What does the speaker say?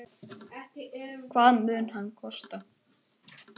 Hvað mun hann kosta?